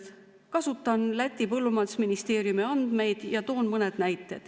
Kasutan Läti põllumajandusministeeriumi andmeid ja toon mõne näite.